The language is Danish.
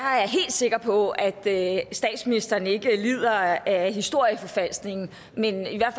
sikker på at statsministeren ikke lider af historieforfalskning